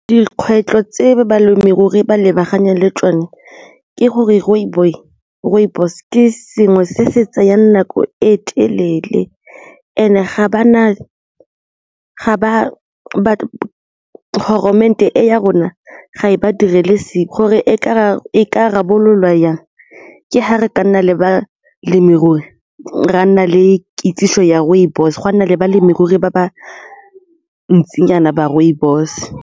Dikgwetlho tse balemirui ba lebaganeng le tsone ke gore rooibos ke sengwe se se tsayang nako e telele and-e e ya rona ga e ba direle sepe gore e ka rarabololwa jang ke ga re ka nna le balemirui, re a nna le kitsiso ya rooibos gwa nna le balemirui ba ba ntsinyana ba rooibos.